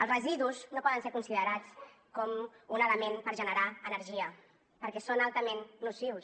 els residus no poden ser considerats com un element per generar energia perquè són altament nocius